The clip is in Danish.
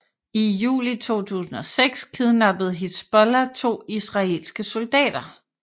I juli 2006 kidnappede Hizbollah to israelske soldater